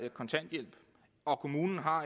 kontanthjælp og kommunen har